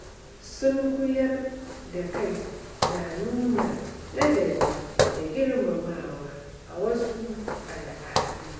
Sunkuyar da kai na nuna ladabi da girmamawa a wasu al’adu.